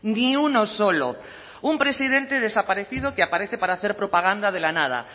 ni uno solo un presidente desaparecido que aparece para hacer propaganda de la nada